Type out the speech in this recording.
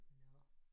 Nåh